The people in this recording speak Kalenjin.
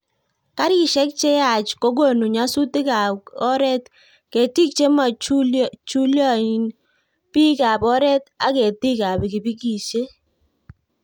Garisiek che yaach kokonu nyasutik ak Kora ketik che mochuloyin, bikap oret ak ketikab pikipikisiek